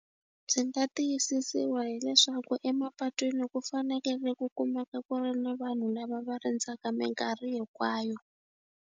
Byi nga tiyisisiwa hileswaku emapatwini ku fanekele ku kumeka ku ri ni vanhu lava va rindzaka mikarhi hikwayo.